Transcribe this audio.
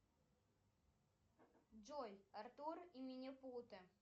джой артур и минипуты